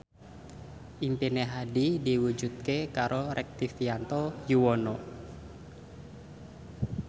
impine Hadi diwujudke karo Rektivianto Yoewono